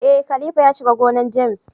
Eh, khalifa ya shiga gonan James.